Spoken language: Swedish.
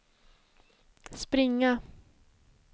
springa